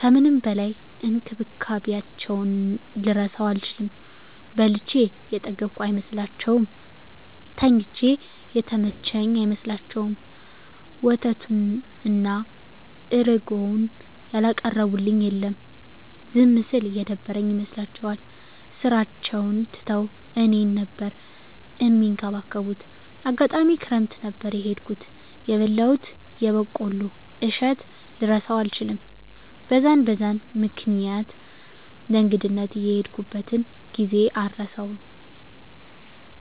ከምንም በላይ እንክብካቤያቸዉን ልረሳዉ አልችልም። በልቼ የጠገብኩ አይመስላቸዉም፣ ተኝቼ የተመቸኝ አይመስላቸዉም፣ ወተቱን እና እረጎዉን ያላቀረቡልኝ የለም። ዝም ስል የደበረኝ ይመስላቸዋል ስራቸዉን ትተዉ እኔን ነበር እሚንከባከቡት፣ አጋጣሚ ክረምት ነበር የሄድኩት የበላሁትን የበቆሎ እሸት ልረሳዉ አልችልም። በዛን በዛን ምክኒያት ለእንግድነት የሄድኩበትን ጊዜ አረሳዉም።